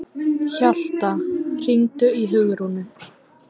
Hjalta, hringdu í Hugrúnu.